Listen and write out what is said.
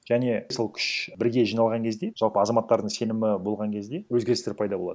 және сол күш бірге жиналған кезде жалпы азаматтардың сенімі болған кезде өзгерістер пайда болады